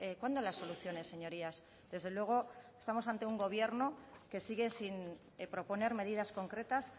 cuándo las soluciones señorías desde luego estamos ante un gobierno que sigue sin proponer medidas concretas